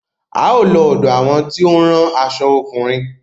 A ó lọ ọ̀dọ àwọn tí ó ń rán aṣo ọkùnrin.